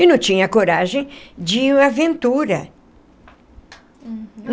E não tinha coragem de aventura. Uhum.